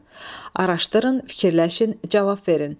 Araşdırın, fikirləşin, cavab verin.